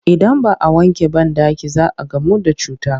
Idan ba a wanke banɗaki za a gamu da cuta